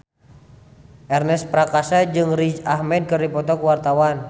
Ernest Prakasa jeung Riz Ahmed keur dipoto ku wartawan